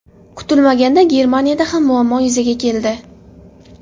Kutilmaganda Germaniyada ham muammo yuzaga keldi.